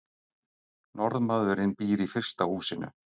Norðmaðurinn býr í fyrsta húsinu.